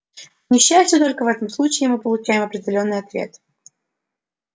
к несчастью только в этом случае мы получаем определённый ответ